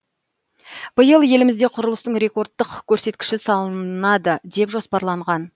биыл елімізде құрылыстың рекордттық көрсеткіші салынады деп жоспарланған